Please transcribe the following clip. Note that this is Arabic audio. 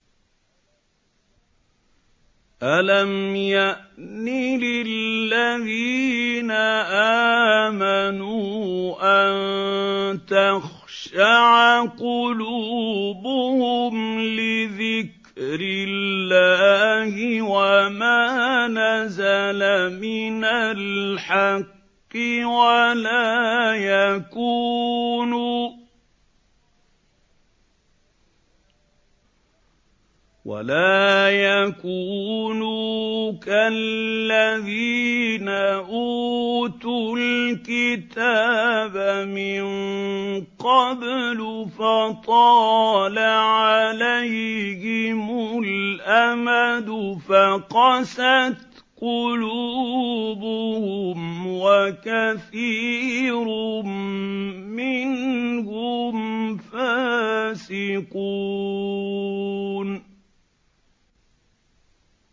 ۞ أَلَمْ يَأْنِ لِلَّذِينَ آمَنُوا أَن تَخْشَعَ قُلُوبُهُمْ لِذِكْرِ اللَّهِ وَمَا نَزَلَ مِنَ الْحَقِّ وَلَا يَكُونُوا كَالَّذِينَ أُوتُوا الْكِتَابَ مِن قَبْلُ فَطَالَ عَلَيْهِمُ الْأَمَدُ فَقَسَتْ قُلُوبُهُمْ ۖ وَكَثِيرٌ مِّنْهُمْ فَاسِقُونَ